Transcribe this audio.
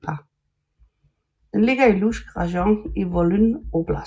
Den ligger i Lutsk rajon i Volyn oblast